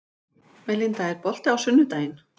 Melinda, er bolti á sunnudaginn?